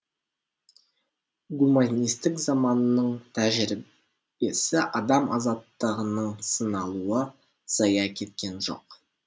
гуманистік заманның тәжірибесі адам азаттығының сыналуы зая кеткен жоқ